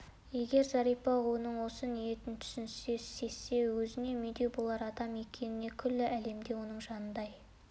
егер зәрипа оның осы ниетін түсінсе сезсе өзіне медеу болар адам екеніне күллі әлемде оны жанындай